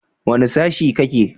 Wane sashe kake?